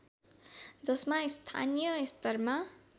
जसमा स्थानीय स्तरमा